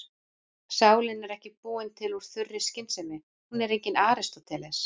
Sálin er ekki búin til úr þurri skynsemi, hún er enginn Aristóteles.